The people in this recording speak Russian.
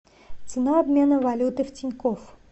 цена обмена валюты в тинькофф